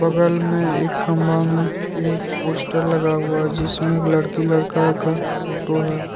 बगल में एक खंभा में एक पोस्टर लगा हुआ है। जिसमें एक लड़की लड़का का फोटो है।